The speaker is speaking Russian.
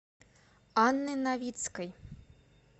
анны новицкой